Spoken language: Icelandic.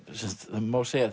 má segja